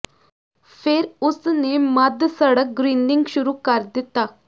ਫਿਰ ਉਸ ਨੇ ਮੱਧ ਸੜਕ ਗਰੀਨਿੰਗ ਸ਼ੁਰੂ ਕਰ ਦਿੱਤਾ